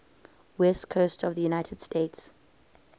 west coast of the united states